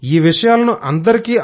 ఈ విషయాలను అందరికీ